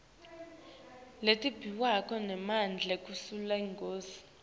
letimbiwa nemandla kulesigodzi